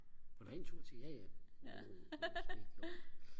vil du have en tur til jaja uh